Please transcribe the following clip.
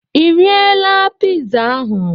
Ị riela pizza ahụ